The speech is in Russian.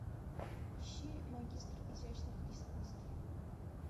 ищи магистр изящных искусств